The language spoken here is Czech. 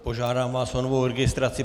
Požádám vás o novou registraci.